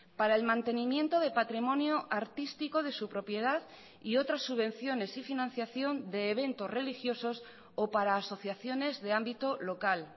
para el mantenimiento de patrimonio artístico de su propiedad y otras subvenciones y financiación de eventos religiosos o para asociaciones de ámbito local